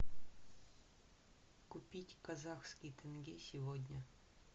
купить казахский тенге сегодня